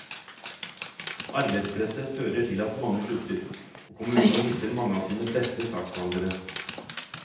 Arbeidspresset fører til at mange slutter, og kommunene mister mange av sine beste saksbehandlere.